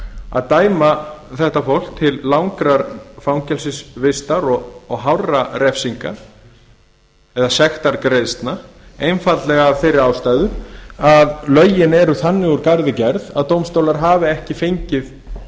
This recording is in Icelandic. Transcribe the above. að dæma þetta fólk til langrar fangelsisvistar og hárra refsinga eða sektargreiðslna einfaldlega af þeirri ástæðu að lögin eru þannig úr garði gerð að dómstólar hafa ekki fengið